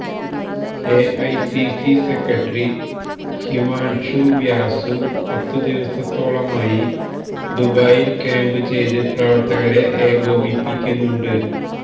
AICC secretary Himanshu Vyas പത്തു ദിവസത്തോളമായി ദുബായിൽ ക്യാമ്പ് ചെയ്ത് പ്രവർത്തകരെ ഏകോപിപ്പിക്കുന്നുണ്ട്